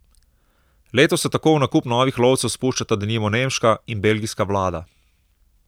Letos se tako v nakup novih lovcev spuščata denimo nemška in belgijska vlada.